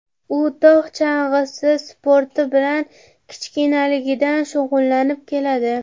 U tog‘ chang‘isi sporti bilan kichkinaligidan shug‘ullanib keladi.